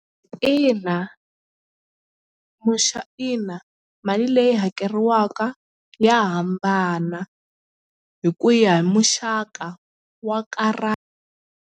Ina ina mali leyi hakeriwaka ya hambana hi ku ya hi muxaka wa karata.